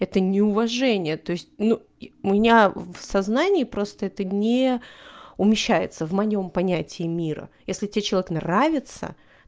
это неуважение то есть ну у меня в сознании просто это не умещается в моем понятии мира если тебе человек нравится